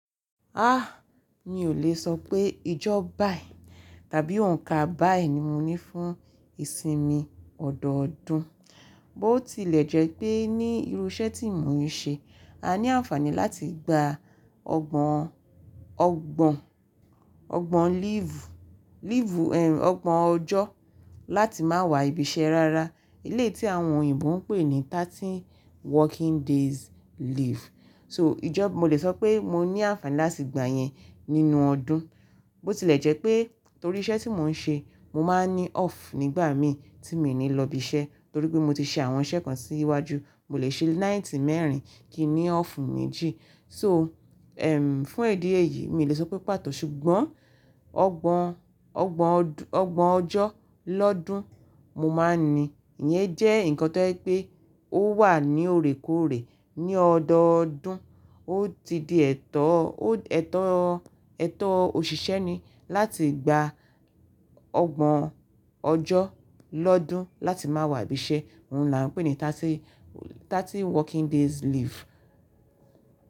Ah! Mi ò lè sọ pé ìjọ ba yìí tàbí onǹka báyìí ni mo ní fún ìsinmi ọ̀dọ̀ọ̀dún, bó tilẹ̀ jẹ́ pé ní irú iṣẹ́ tí mò ń ṣe, a ní àǹfààní láti gba ọgbọ̀n, ọgbọ̀n, ọgbọ̀n leave, leave ọgbọ̀n ọjọ́ láti máa wá ibi iṣẹ́ rárá. Elé tí àwọn òyìnbó ń pè ní thirty working days leave. So ìjọ, mo lè sọ pé mo ní àǹfààní láti gba yẹn nínú ọdún. Bó tilẹ̀ jẹ́ pé torí iṣẹ́ tí mò ń ṣe, mo máa ní off nígbà mi tí mi ò ní lọ ibi iṣẹ́ torí pé mo ti ṣe àwọn iṣẹ́ kan sí wájú, mo lè ṣe night mẹ́rin kìí n ní off méjì. So fún idi yìí mi ò lè sọ pé pàtó ṣùgbọ́n ọgbọ̀n, ọgbọ̀n ọgbọ̀n ọjọ́ lọ́dún mo máa ní. Iyẹn jẹ́ nǹkan tó jẹ́ pé ó wà ní òrèkòrè ní ọ̀dọ̀ọ̀dún. Ó ti di ẹ̀tọ́, ó ẹ̀tọ́, ẹ̀tọ́ òṣìṣẹ́ ni láti gba ọgbọ̀n ọjọ́ lọ́dún láti máa wá ibi iṣẹ́, òun là ń pè ní thirty, thirty working days leave.